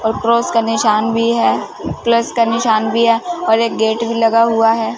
और क्रॉस का निशान भी है प्लस का निशान भी है और एक गेट भी लगा हुआ है।